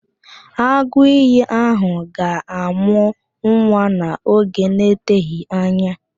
Agụìyì ahụ ga-amụ nwa n'oge na-eteghị anya